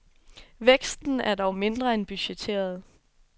Væksten er dog mindre end budgetteret.